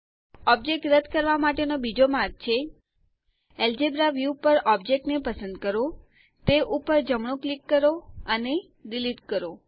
object રદ કરવા માટેનો બીજો માર્ગ છે અલ્જેબ્રા વ્યૂ પર ઓબ્જેક્ટ ને પસંદ કરો તે ઉપર જમણું ક્લિક કરો અને ડિલીટ કરો